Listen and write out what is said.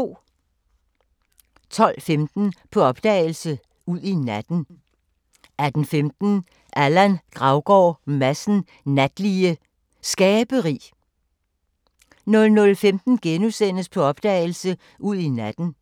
12:15: På opdagelse – Ud i natten 18:15: Allan Gravgaard Madsen Natlige Skaberi 00:15: På opdagelse – Ud i natten *